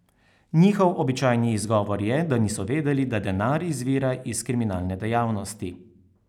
Njihov običajni izgovor je, da niso vedeli, da denar izvira iz kriminalne dejavnosti.